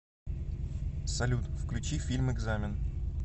салют включи фильм экзамен